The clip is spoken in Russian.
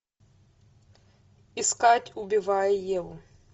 искать убивая еву